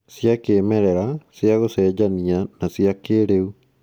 Cĩa kĩĩmerera, cia gũcenjania, na cia kĩĩrĩu